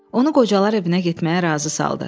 Onu qocalar evinə getməyə razı saldı.